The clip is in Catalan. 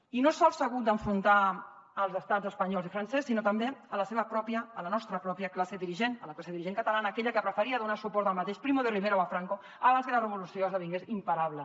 i no sols s’ha hagut d’enfrontar als estats espanyol i francès sinó també a la seva pròpia a la nostra pròpia classe dirigent a la classe dirigent catalana aquella que preferia donar suport al mateix primo de rivera o a franco abans que la revolució esdevingués imparable